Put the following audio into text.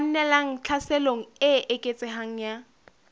kgannelang tlhaselong e eketsehang ya